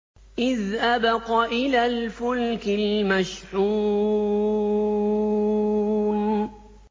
إِذْ أَبَقَ إِلَى الْفُلْكِ الْمَشْحُونِ